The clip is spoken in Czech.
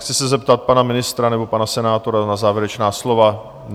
Chci se zeptat pana ministra nebo pana senátora na závěrečná slova.